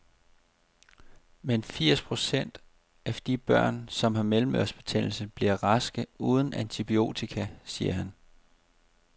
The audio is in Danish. Men firs procent af de børn, som har mellemørebetændelse, bliver raske uden antibiotika, siger han.